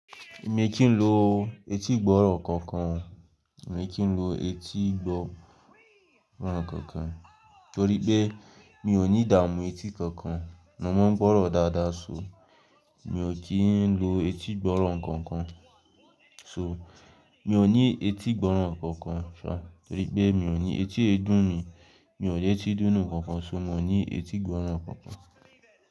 Èmi kì í lo etí gbọ́nrọ̀ kankan. Èmi kì í lo etí gbọ́nrọ̀ kankan torípé mi ò ní dààmú etí kankan na mọ́ gbọ́nrọ̀ dáadáa sóo. Mi ò kì í lo etí gbọ́nrọ̀ kankan. So mi ò ní etí gbọ́nrọ̀ kankan. Torípé mi ò ní etí ẹdún mi, mi ò ní etí dúnù kankan sóo, mo ní etí gbọ́nrọ̀ kankan.